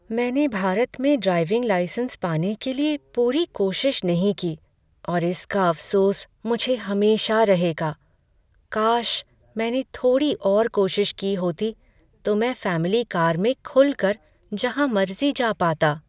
मैंने भारत में driving licence पाने के लिए पूरी कोशिश नहीं की और इसका अफसोस मुझे हमेशा रहेगा। काश मैंने थोड़ी और कोशिश की होती तो मैं फैमिली कार में खुल कर जहाँ मर्जी जा पाता।